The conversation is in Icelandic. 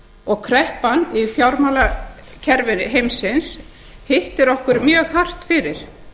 og kreppan í fjármálakerfi heimsins hittir okkur mjög fast fyrir